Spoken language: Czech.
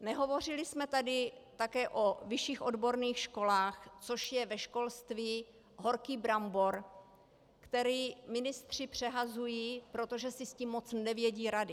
Nehovořili jsme tady také o vyšších odborných školách, což je ve školství horký brambor, který ministři přehazují, protože si s tím moc nevědí rady.